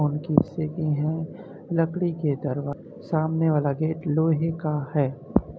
हैं लकड़ी के दर सामने वाला गेट लोहे का है।